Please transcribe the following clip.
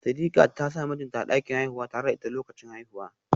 Sidiqat ta sa mijinta a dakin haihuwa tare da ita lokacin haihuwa